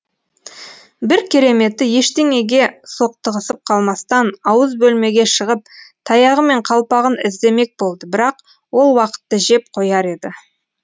бір кереметі ештеңеге соқтығысып қалмастан ауыз бөлмеге шығып таяғы мен қалпағын іздемек болды бірақ ол уақытты жеп қояр еді